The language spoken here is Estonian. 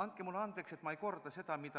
Andke mulle andeks, et ma ei korda seda, mis